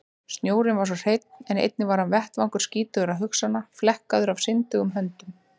Snjórinn var svo hreinn en einnig hann var vettvangur skítugra hugsana, flekkaður af syndugum höndum.